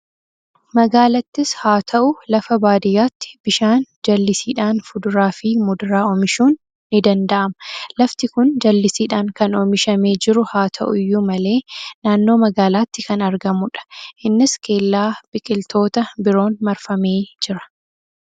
Magaalaattis haa ta'u, lafa baadiyyaatti bishaan jallisiidhaan fuduraa fi muduraa oomishuun ni danda'ama. Lafti kun jallisiidhaan kan oomishamee jiru haa ta'u iyyuu malee naannoo magaalaatti kan argamudha. Innis kellaa biqiltoota biroon marfamee jira.